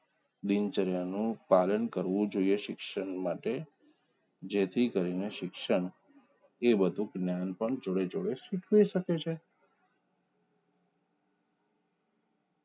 દિનચર્યા નું પાલન કરવું જોઈ એ સીક્ષણ માટે જેથી ઘરના શિક્ષણ કે વધુ જ્ઞાન પણ જોડે જોડે શીખીવી શકે છે